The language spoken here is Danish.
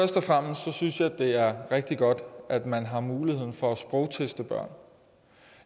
jeg synes at det er rigtig godt at man har mulighed for at sprogteste børn